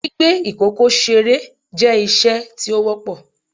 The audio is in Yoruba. Gbigbe ikoko sere jẹ iṣe ti o wọpọ